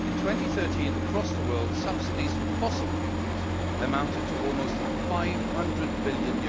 In 2013, across the world, subsidies for fossil fuels amounted to almost EUR 500 billion.